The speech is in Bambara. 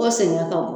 O sɛgɛn ka bon